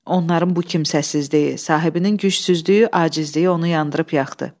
Onların bu kimsəsizliyi, sahibinin gücsüzlüyü, acizliyi onu yandırıb yaxdı.